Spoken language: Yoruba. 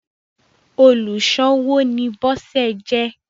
oluṣowo ni Bose jé.